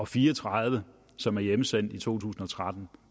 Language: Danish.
fire og tredive som blev hjemsendt i to tusind og tretten